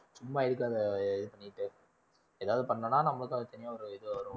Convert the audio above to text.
சும்மா எதுக்கு அதை இது பண்ணிட்டு ஏதாவது பண்ணோம்னா நம்மளுக்கு அது தனியா ஒரு இது வரும்ல